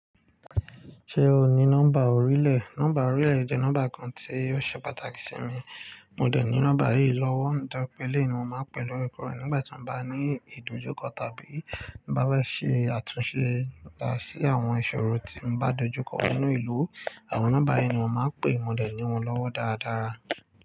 Ṣé o ní nọ́mbà orílẹ̀? Nọ́mbà orílẹ̀ jẹ́ nọ́mbà kan tí yóò ṣe pàtàkì sí mi. Mo dẹ̀ ní nọ́mbà yìí lọ́wọ́, nítorí pé léèní mo máa ń pè lóòrèkóòrè nígbà tí mo bá ní ìdojúkọ tàbí bá wá ṣe àtúnṣe sí àwọn ìṣòro tí mo bá dojú kọ inú ìlú. Àwọn nọ́mbà yìí ni mo máa ń pè, mo dẹ̀ ní wọn lọ́wọ́ dáradára.